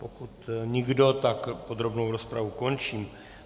Pokud nikdo, tak podrobnou rozpravu končím.